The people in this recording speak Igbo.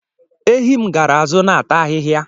Ehi m gaara azụ na-ata ahịhịa.